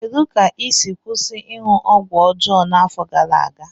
Kedu ka ị si kwụsị ịṅụ ọgwụ ọjọọ n'afọ gara aga?